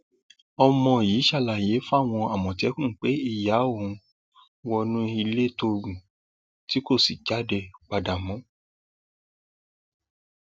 ọmọ yìí ṣàlàyé fáwọn àmọtẹkùn pé ìyá òun wọnú ilé tóògùn tí kò sì jáde padà mọ